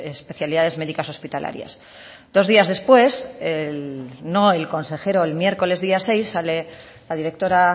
especialidades médicas hospitalarias dos días después no el consejero el miércoles día seis sale la directora